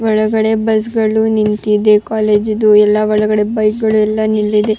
ಒಳಗಡೆ ಬಸ್ ಗಳು ನಿಂತಿದೆ ಕಾಲೇಜು ಇದು ಎಲ್ಲ ಒಳಗಡೆ ಬೈಕ್ ಗಳೆಲ್ಲ ನಿಂದಿದೆ-